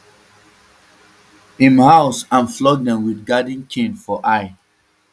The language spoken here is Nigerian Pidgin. im house and flog dem wit garden cane for i